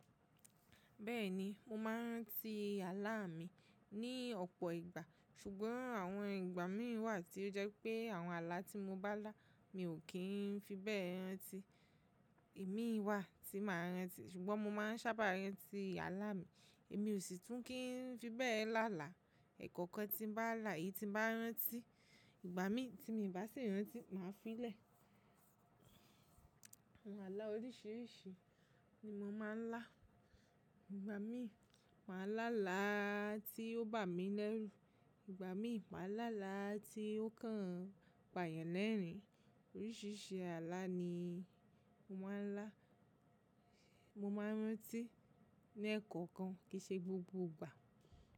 Bẹ́ẹ̀ni, mo máa ń rántí àlá mi ní ọ̀pọ̀ ìgbà, ṣùgbọ́n àwọn ìgbà mì wà tí ó jẹ́ pé àwọn àlá tí mo bá lá, mi ò kí ń fi bẹ́ẹ̀ rántí. Imi wà tí màá rántí, ṣùgbọ́n mo máa ń ṣábà rántí àlá mi. Èmi ò sì tún kí ń fi bẹ́ẹ̀ lá là. Ẹ̀kọ̀kan tí n bá là èyí tí n bá rántí. Ìgbà mì tí mi bá sì rántí, màá fi lẹ̀. Àwọn àlá oríṣìíríṣìí ni mo máa ń lá. Ìgbà mì ma lá làá tí ó bá mi lẹ́rù, ìgbà mì ma lá làá tí ó kàn pàyàn lẹ́ẹ̀rín. Oríṣìíríṣìí ààlà ni mo máa ń lá. Mo máa ń rántí ní ẹ̀kọ̀kan kìí ṣe gbogbo ìgbà.